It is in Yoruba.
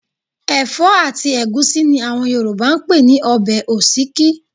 Ẹ̀fọ́ àti ẹ̀gúsí ni àwọn Yorùbá ń pè ní ọbẹ̀ òsíkí